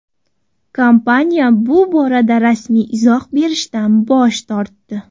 Kompaniya bu borada rasmiy izoh berishdan bosh tortdi.